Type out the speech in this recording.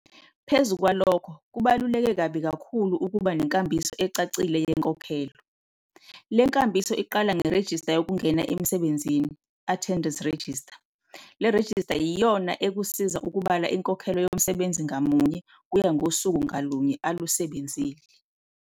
Phezu kwalokho, kubaluleke kabi kakhulu ukuba nenkambiso ecacile yenkonkhelo. Le nkambiso iqala ngerejista yokungena emsebenzini, attendance register,. Le rejista yiyona ekusiza ukubala inkokhelo yomsebenzi ngamunye kuya ngosuku ngalunye alusebenzile.